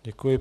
Děkuji.